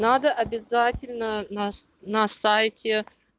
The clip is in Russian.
надо обязательно нас на на сайте